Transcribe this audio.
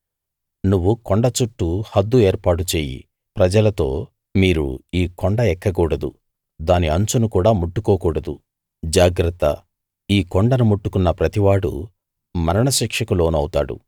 నువ్వు కొండ చుట్టూ హద్దు ఏర్పాటు చెయ్యి ప్రజలతో మీరు ఈ కొండ ఎక్కకూడదు దాని అంచును కూడా ముట్టుకోకూడదు జాగ్రత్త ఈ కొండను ముట్టుకున్న ప్రతివాడూ మరణశిక్షకు లోనవుతాడు